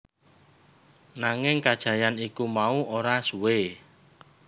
Nanging kajayan iku mau ora suwé